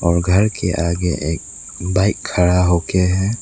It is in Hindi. और घर के आगे एक बाइक खड़ा होके है।